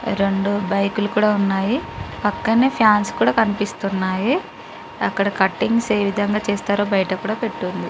రెండు బైక్ లు కూడా ఉన్నాయి పక్కనే ఫ్యాన్స్ కూడా కనిపిస్తున్నాయి అక్కడ కట్టింగ్స్ ఏ విధంగా చేస్తారొ బయటకూడ పెట్టుంది.